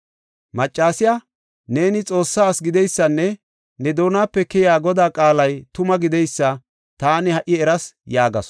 Maccasiya, “Neeni Xoossa asi gideysanne ne doonape keyiya Godaa qaalay tuma gideysa taani ha77i eras” yaagasu.